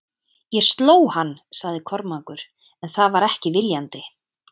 Ég sló hann, sagði Kormákur, en það var ekki viljandi.